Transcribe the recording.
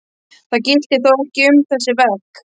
Það gilti þó ekki um þessi verk.